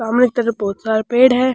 सामने तरफ बहोत सारा पेड़ है।